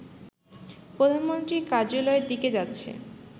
প্রধানমন্ত্রীর কার্যালয়ের দিকে যাচ্ছে